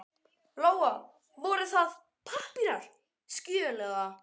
Lóa: Voru það pappírar, skjöl eða?